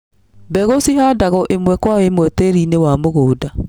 Mbegucihandagwo ĩmwe kwa imwe tĩrinĩ wa mũgũnda.